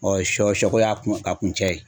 Ɔ sɔ sɔko y'a kun a kuncɛ yen